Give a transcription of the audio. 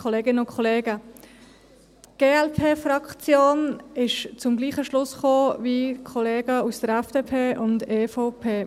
Die Glp-Fraktion ist zum gleichen Schluss gekommen wie die Kollegen der FDP und EVP.